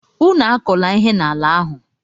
Unu akọla ihe n'ala ahụ!